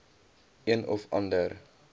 een of ander